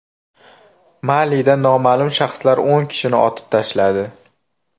Malida noma’lum shaxslar o‘n kishini otib tashladi.